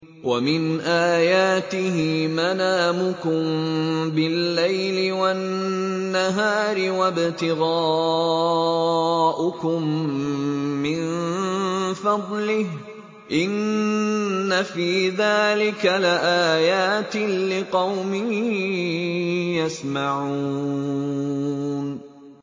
وَمِنْ آيَاتِهِ مَنَامُكُم بِاللَّيْلِ وَالنَّهَارِ وَابْتِغَاؤُكُم مِّن فَضْلِهِ ۚ إِنَّ فِي ذَٰلِكَ لَآيَاتٍ لِّقَوْمٍ يَسْمَعُونَ